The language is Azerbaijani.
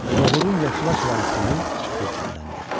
Nohurun yaşılaşalan suyu pürçümləndi.